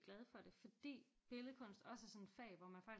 Glad for det fordi billedkunst også er sådan et fag hvor man faktisk